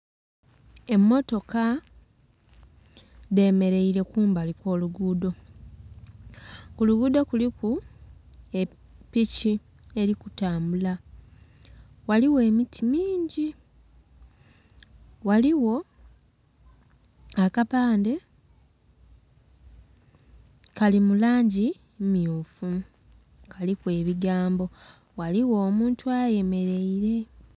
Emmotoka dhemeleile kumbali kw'olugudho. Ku lugudho kuliku epiki eri kutambula. Ghaligho emiti mingi. Ghaligho akapande kali mu langi mmyufu kaliku ebigambo. Ghaligho omuntu ayemeleile.